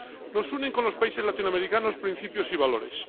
Nos unen con los países latinoamericanos, principios y valores.